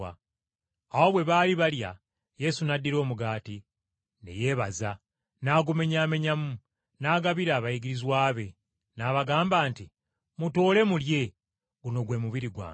Awo bwe baali balya, Yesu n’addira omugaati, ne yeebaza, n’agumenyaamenyamu, n’agabira abayigirizwa be, n’abagamba nti, “Mutoole mulye, guno gwe mubiri gwange.”